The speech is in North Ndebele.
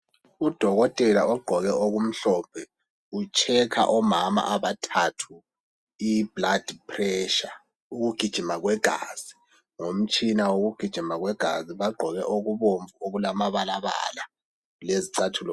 Udokotela ogqoke okumhlophe ucherker omama abathathu iblood pressure, ukugijima kwegazi ngomtshina wokugijima kwegazi. Bagqoke okubomvu lamabala lezicathulo.